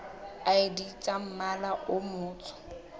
id tsa mmala o motsho